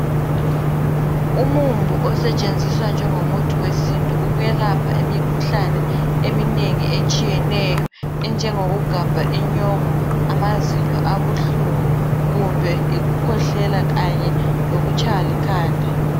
Umumbu osetshenziswa ngengomuthi yesintu ukwelapha emikhuhlane eminengi etshiyeneyo enjengokugaba inyongo amazinyo abuhlungu kumbe ikukwehlela kanye lokutshaywa likhanda